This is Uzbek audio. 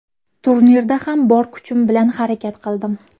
Turnirda ham bor kuchim bilan harakat qildim.